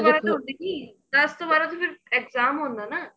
ਬਾਰਾਂ ਦੱਸ ਤੋਂ ਬਾਰਾਂ ਤਾਂ ਫਿਰ exam ਹੁੰਦਾ ਨਾ